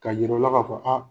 Ka yir'aw la ka fɔ an